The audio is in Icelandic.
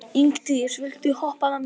Ingdís, viltu hoppa með mér?